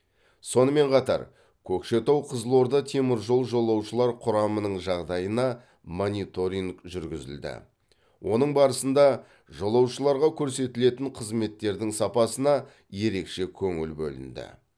сонымен қатар көкшетау қызылорда теміржол жолаушылар құрамының жағдайына мониторинг жүргізілді оның барысында жолаушыларға көрсетілетін қызметтердің сапасына ерекше көңіл бөлінді